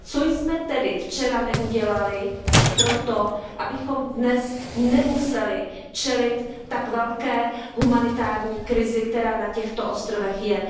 Co jsme tedy včera neudělali pro to, abychom dnes nemuseli čelit tak velké humanitární krizi, která na těchto ostrovech je?